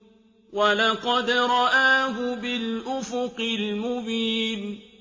وَلَقَدْ رَآهُ بِالْأُفُقِ الْمُبِينِ